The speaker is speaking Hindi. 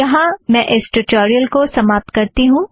यहाँ मैं इस ट्यूटोरियल को समाप्त करती हूँ